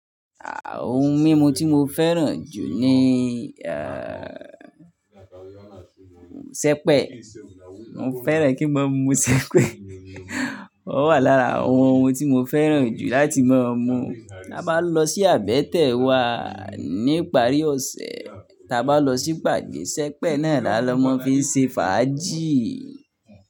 Àà ohun mímu tí mo fẹ́ràn jù ni, eh, Sẹpẹ̀. Mo fẹ́ran kí n máa mu Sẹpẹ̀. Ó wà lára àwọn ohun tí mo fẹ́ràn jù láti máa mu. Tí a bá lọ sí àbẹ́tẹ̀ wá ní ìparí ọ̀sẹ̀, tí a bá lọ sí ìpàdé, Sẹpẹ̀ náà là lọ́ máa n fi ṣe fàájì.